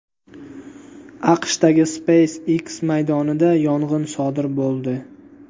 AQShdagi SpaceX maydonida yong‘in sodir bo‘ldi.